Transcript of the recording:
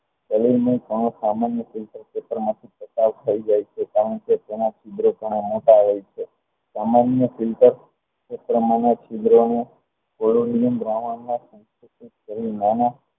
તાલીન મયપણું સામાન્ય રીતે વિતરણમાંથી આ બહાર નીકળી જાય છે કારણ કે તેના ક્ષણો મોટા હોય છે એ પ્રમાણના છિદ્રોનું